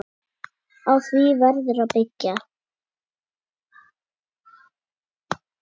Á því verður að byggja.